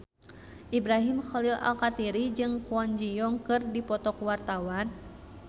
Ibrahim Khalil Alkatiri jeung Kwon Ji Yong keur dipoto ku wartawan